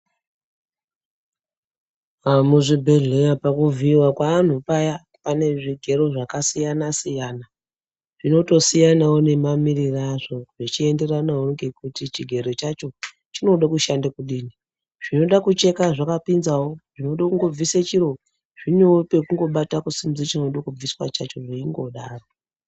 Muzvibhehleya pakuvhiiwa kweanhu paya pane zvigero zvakasiyana-siyana. Zvinotosiyanawo nemamiriro azvo zvichienderanawo ngekuti chigero chacho chinoda kushanda kudini. Zvinoda kucheka zvakapinzawo zvinode kungobvise chiro, zvinewo pekungobata kusimudze chinode kubviswa chacho veingodaro.